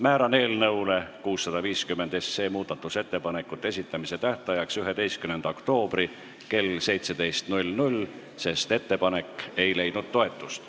Määran eelnõu 650 muudatusettepanekute esitamise tähtajaks 11. oktoobri kell 17, sest ettepanek ei leidnud toetust.